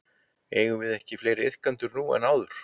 Eigum við ekki fleiri iðkendur núna en áður?